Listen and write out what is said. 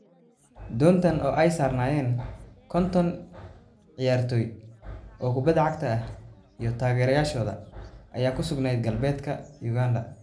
Doontan oo ay saarnaayeen konton ciyaartoy oo kubbadda cagta ah iyo taageerayaashooda ayaa ku sugnayd galbeedka Uganda.